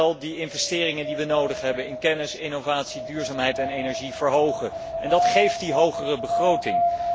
We moeten wel de investeringen die we nodig hebben in kennis, innovatie, duurzaamheid en energie verhogen en dat geeft die hogere begroting.